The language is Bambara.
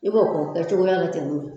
I b'o kɛ o kɛ cogoya la ten